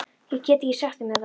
Ég get ekki sagt þeim þetta.